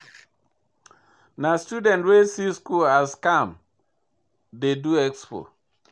Na student wey see school as scam dey do expo.